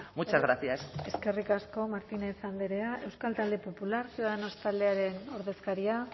muchas gracias eskerrik asko martínez andrea euskal talde popular ciudadanos taldearen ordezkaria